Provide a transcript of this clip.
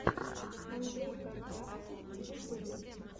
андрей картавцев в ютюбе